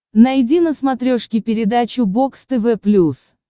найди на смотрешке передачу бокс тв плюс